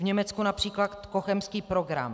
V Německu například Cochemský program.